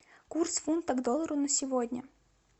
курс фунта к доллару на сегодня